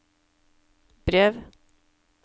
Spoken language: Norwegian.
brev